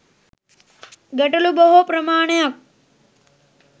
ගැටළු බොහෝ ප්‍රමාණයක්